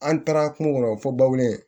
An taara kungo kɔnɔ fɔ baw de ye